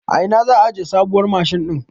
A ina za a aje sabuwar mashin din?